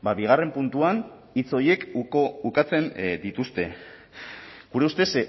bigarren puntuan hitz horiek ukatzen dituzte gure ustez